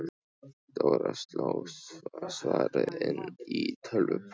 Dóra sló svarið inn í tölvupóst.